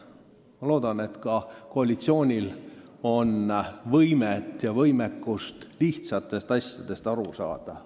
Ma loodan, et ka koalitsioonil on võimekust lihtsatest asjadest aru saada.